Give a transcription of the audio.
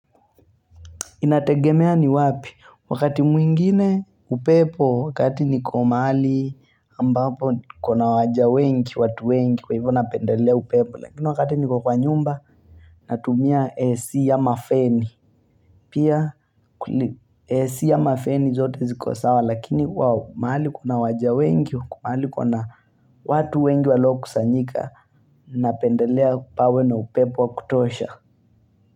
Inategemea ni wapi wakati mwingine upepo wakati niko mahali ambapo kuna waja wengi watu wengi kwa hivyo napendelea upepo Lakini wakati niko kwa nyumba natumia AC am mafeni Pia AC ama feni zote ziko sawa lakini mahali kuna waja wengi mahali kuna watu wengi waliokusanyika Napendelea kupawe na upepo wa kutosha.